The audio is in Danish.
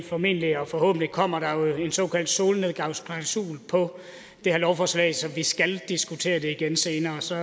formentlig og forhåbentlig kommer der jo en såkaldt solnedgangsklausul i det her lovforslag så vi skal diskutere det igen senere så